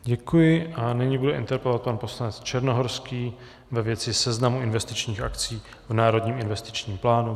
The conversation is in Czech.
Děkuji a nyní bude interpelovat pan poslanec Černohorský ve věci seznamu investičních akcí v Národním investičním plánu.